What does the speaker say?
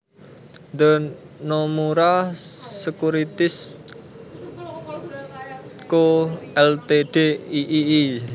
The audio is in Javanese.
The Nomura Securities Co Ltd iii